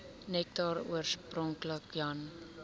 nektar oorspronklik jan